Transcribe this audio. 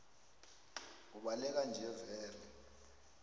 ubaleka nje vele